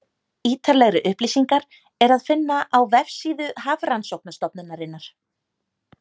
ítarlegri upplýsingar er að finna á vefsíðu hafrannsóknastofnunarinnar